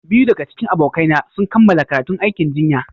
Biyu daga cikin abokaina sun kammala karatun aikin jinya.